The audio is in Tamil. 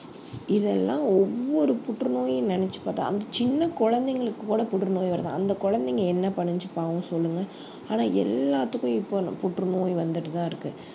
இதெல்லாம் ஒவ்வொரு புற்றுநோயும் நினைச்சு பார்த்தா அந்த சின்ன குழந்தைங்களுக்கு கூட புற்றுநோய் வருது அந்த குழந்தைங்க என்ன பண்ணுச்சு பாவம் சொல்லுங்க ஆனா எல்லாத்துக்கும் இப்போ புற்றுநோய் வந்துட்டுதான் இருக்கு